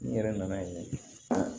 N'i yɛrɛ nana yen